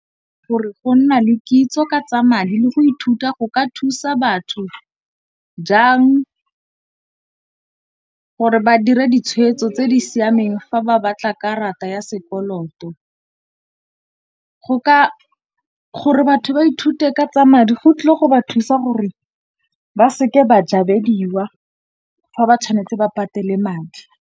Gore go nna le kitso ka tsa madi le go ithuta go ka thusa batho jang gore ba dira ditshwetso tse di siameng fa ba batla karata ya se koloto. Gore batho ba ithute ka tsa madi go tlile go ba thusa gore ba seke ba jabediwa fa ba tshwanetse ba patele madi.